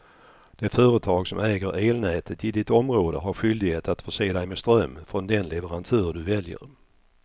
Det företag som äger elnätet i ditt område har skyldighet att förse dig med ström från den leverantör du väljer.